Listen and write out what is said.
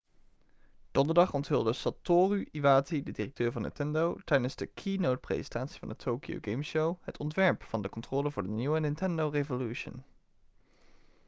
donderdag onthulde satoru iwata de directeur van nintendo tijdens de keynotepresentatie van de tokyo game show het ontwerp van de controller voor de nieuwe nintendo revolution